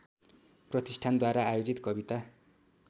प्रतिष्ठानद्वारा आयोजित कविता